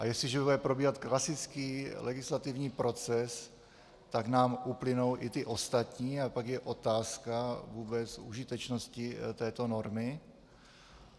A jestliže bude probíhat klasický legislativní proces, tak nám uplynou i ty ostatní a pak je otázka vůbec užitečnosti této normy.